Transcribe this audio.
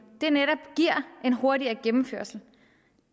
netop giver en hurtigere gennemførelse